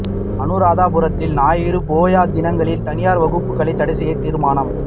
அநுராதபுரத்தில் ஞாயிறு போயா தினங்களில் தனியார் வகுப்புக்களை தடை செய்ய தீர்மானம்